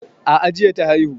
A'a jiya ta haihu